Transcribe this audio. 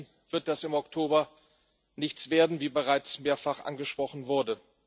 Ansonsten wird das im Oktober nichts werden, wie es bereits mehrfach angesprochen wurde.